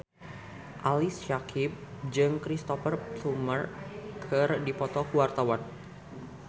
Ali Syakieb jeung Cristhoper Plumer keur dipoto ku wartawan